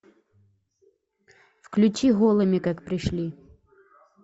включи голыми как пришли